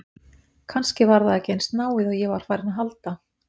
Kannski var það ekki eins náið og ég var farinn að halda!